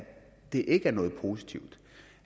det ikke er noget positivt